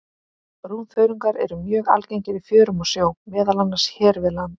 Brúnþörungar eru mjög algengir í fjörum og sjó, meðal annars hér við land.